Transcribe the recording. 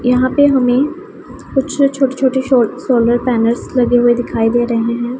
यहां पे हमे कुछ छोटे छोटे शो सोलर पैनल्स लगे हुए दिखाई दे रहे है।